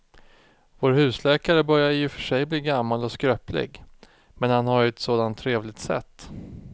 Vår husläkare börjar i och för sig bli gammal och skröplig, men han har ju ett sådant trevligt sätt!